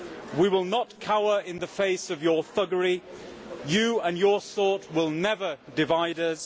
We will not cower in the face of your thuggery. You and your sort will never divide us.